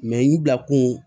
n dakun